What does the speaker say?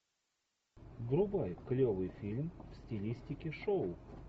врубай клевый фильм в стилистике шоу